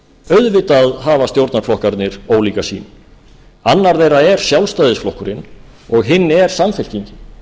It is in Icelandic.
auðvitað hafa stjórnarflokkarnir ólíka sýn annar þeirra er sjálfstæðisflokkurinn og hinn er samfylkingin